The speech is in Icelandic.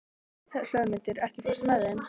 Hlöðmundur, ekki fórstu með þeim?